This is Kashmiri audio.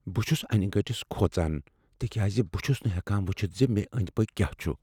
بہٕ چھس انِہ گٔٹِس کھوژان تکیازِ بہٕ چُھس نہٕ ہیکان ؤچھتھ ز مےٚ أنٛدۍ پٔکھۍ کیاہ چھ۔